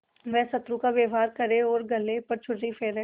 वह शत्रु का व्यवहार करे और गले पर छुरी फेरे